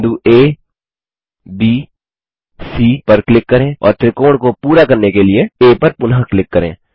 बिंदु abसी पर क्लिक करें और त्रिकोण को पूरा करने के लिए आ पर पुनः क्लिक करें